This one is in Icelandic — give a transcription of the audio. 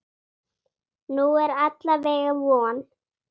Nú er alla vega von.